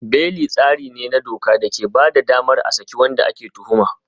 Beli tsari ne na doka da ke ba da damar a saki wanda ake tuhuma.